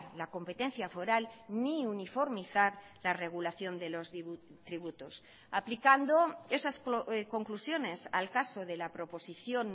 la competencia foral ni uniformizar la regulación de los tributos aplicando esas conclusiones al caso de la proposición